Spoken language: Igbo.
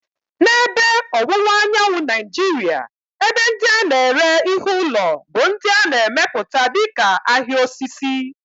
N'ebe Ọwụwa Anyanwụ Nigeria, ebe ndị a na-ere ihe ụlọ bụ ndị a na-emepụta dịka "ahịa osisi."